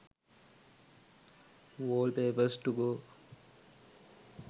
wallpapers to go